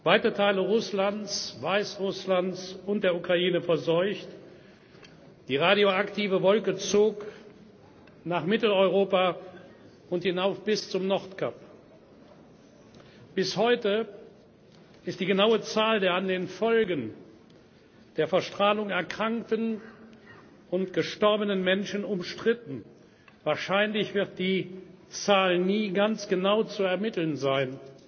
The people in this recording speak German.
weite Teile Russlands, Weißrusslands und der Ukraine wurden verseucht, die radioaktive Wolke zog nach Mitteleuropa und hinauf bis zum Nordkap. Bis heute ist die genaue Zahl der an den Folgen der Verstrahlung erkrankten und gestorbenen Menschen umstritten wahrscheinlich wird die Zahl nie ganz genau zu ermitteln